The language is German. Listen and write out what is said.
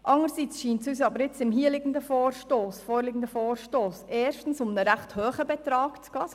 Andererseits scheint es uns im hier vorliegenden Vorstoss erstens um einen recht hohen Betrag zu gehen.